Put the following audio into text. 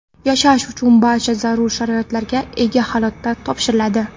yashash uchun barcha zarur sharoitlarga ega holda topshiriladi.